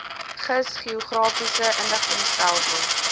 gis geografiese inligtingstelsel